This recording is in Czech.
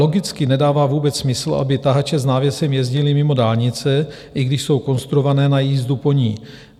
Logicky nedává vůbec smysl, aby tahače s návěsem jezdily mimo dálnice, i když jsou konstruované na jízdu po ní.